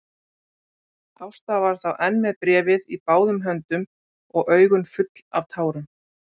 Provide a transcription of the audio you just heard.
Ásta var þá enn með bréfið í báðum höndum og augun full af tárum.